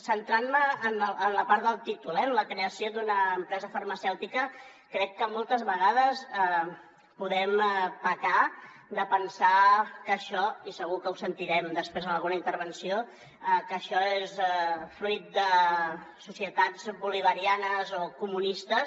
centrant me en la part del títol eh la creació d’una empresa farmacèutica crec que moltes vegades podem pecar de pensar i segur que ho sentirem després en alguna intervenció que això és fruit de societats bolivarianes o comunistes